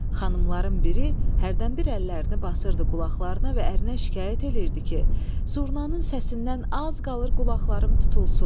Xanımların biri hərdən bir əllərini basırdı qulaqlarına və ərinə şikayət eləyirdi ki, zurnanın səsindən az qalır qulaqlarım tutulsun.